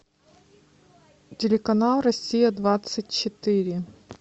телеканал россия двадцать четыре